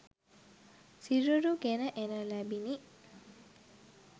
සිරුරු ගෙන එනු ලැබිණි